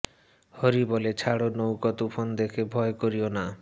হরি বলে ছাড়ো নৌকা তুফান দেখে ভয় করিও না